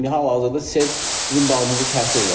İndi hal-hazırda sel bizim bağımızı təsir elədi.